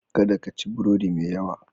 Kada ka ci burodi mai yawa.